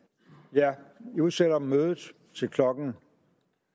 jeg udsætter mødet til klokken